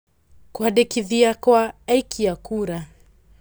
Kũĩandĩkithia kwa aikia kura.